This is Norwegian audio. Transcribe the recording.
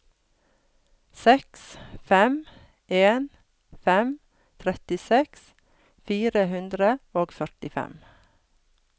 seks fem en fem trettiseks fire hundre og førtifem